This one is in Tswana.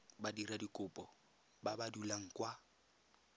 badiradikopo ba ba dulang kwa